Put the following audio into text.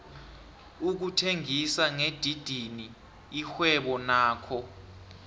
ukuthengisa ngedidini lirhwebo nakho